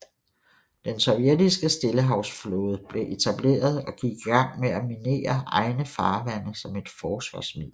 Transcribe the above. Den sovjetiske stillehavsflåde blev etableret og gik i gang med at minere egne farvande som et forsvarsmiddel